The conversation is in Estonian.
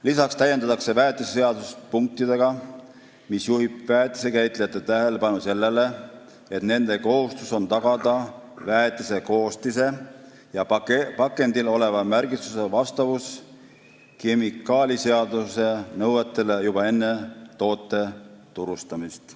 Lisaks täiendatakse väetiseseadust punktidega, mis juhib väetisekäitlejate tähelepanu sellele, et nende kohustus on tagada väetise koostise ja pakendil oleva märgistuse vastavus kemikaaliseaduse nõuetele juba enne toote turustamist.